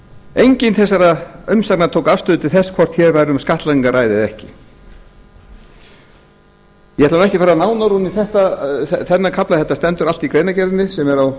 engin þessara umsagna tók afstöðu til þess hvort hér væri um skattlagningu að ræða eða ekki ég ætla ekki að fara nánar ofan í þennan kafla þetta stendur allt í greinargerðinni sem er á